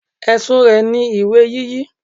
Ẹ̀sùn rẹ̀ ni ìwé yíyí.